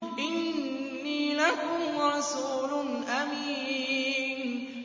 إِنِّي لَكُمْ رَسُولٌ أَمِينٌ